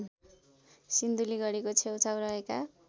सिन्धुलीगढीको छेउछाउ रहेका